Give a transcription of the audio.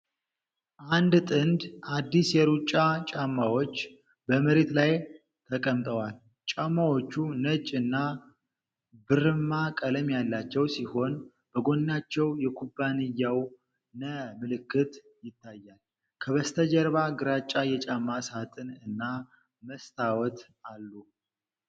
አንድ ጥንድ አዲስ የሩጫ ጫማዎች በመሬት ላይ ተቀምጠዋል። ጫማዎቹ ነጭ እና ብርማ ቀለም ያላቸው ሲሆን፣ በጎናቸው የኩባንያው 'ነ' ምልክት ይታያል። ከበስተጀርባ ግራጫ የጫማ ሳጥን እና መስታወት አሉ።